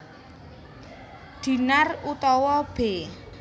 Dinar utawa b